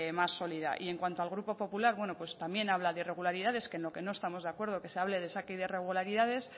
más sólida y en cuanto al grupo popular bueno pues también habla de irregularidades que en lo que no estamos de acuerdo que se hable de saque y de irregularidades